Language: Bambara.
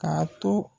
Ka to